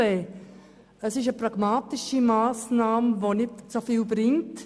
Es handelt sich um eine pragmatische Massnahme, die nicht sehr viel bringt.